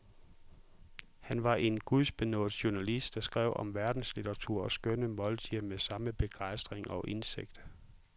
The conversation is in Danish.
Han var en gudbenådet journalist, der skrev om verdenslitteratur og skønne måltider med samme begejstring og indsigt.